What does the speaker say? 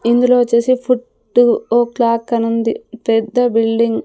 ఇందులో వచ్చేసి food o'clock అని ఉంది పెద్ద బిల్డింగ్ .